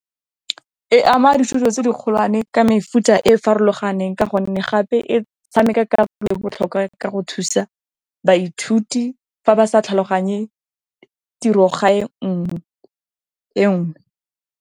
E ama dithuto tse di kgolwane ka mefuta e farologaneng ka gonne, gape e tshameka karolo e botlhokwa ka go thusa baithuti fa ba sa tlhaloganye tirogae e nngwe.